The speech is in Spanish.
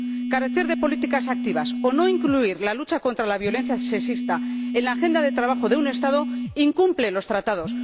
Carecer de políticas activas o no incluir la lucha contra la violencia sexista en la agenda de trabajo de un Estado incumple los Tratados.